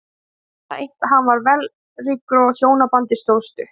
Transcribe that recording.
Man það eitt að hann var vellríkur og að hjónabandið stóð stutt.